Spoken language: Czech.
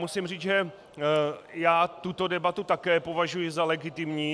Musím říci, že já tuto debatu také považuji za legitimní.